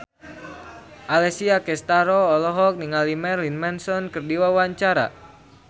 Alessia Cestaro olohok ningali Marilyn Manson keur diwawancara